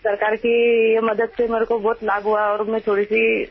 Only we know of the situation we faced at that time